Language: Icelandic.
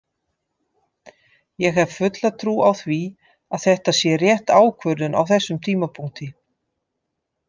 Ég hef fulla trú á því að þetta sé rétt ákvörðun á þessum tímapunkti.